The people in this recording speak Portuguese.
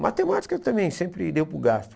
Matemática também sempre deu para o gasto.